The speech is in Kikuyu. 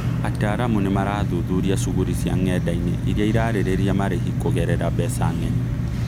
Ataaramu nĩmarathuthuria cũguri cia ngendainĩ iria ĩrarĩrĩria marehi kũgerera mbeca ng'eni